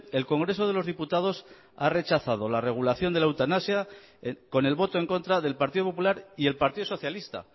el congreso de los diputados ha rechazado la regulación de la eutanasia con el voto en contra del partido popular y el partido socialista